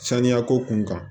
Saniya ko kun kan